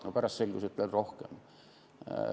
No pärast selgus, et oli veel rohkem.